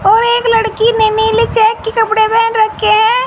और एक लड़की ने नीली चेक के कपड़े पेहन रखे हैं।